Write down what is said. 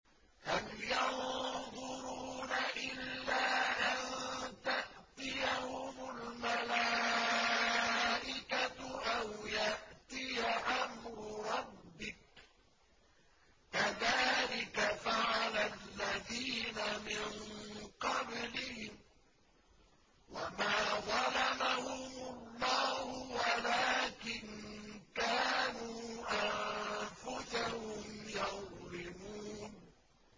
هَلْ يَنظُرُونَ إِلَّا أَن تَأْتِيَهُمُ الْمَلَائِكَةُ أَوْ يَأْتِيَ أَمْرُ رَبِّكَ ۚ كَذَٰلِكَ فَعَلَ الَّذِينَ مِن قَبْلِهِمْ ۚ وَمَا ظَلَمَهُمُ اللَّهُ وَلَٰكِن كَانُوا أَنفُسَهُمْ يَظْلِمُونَ